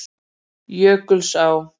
Jökulsá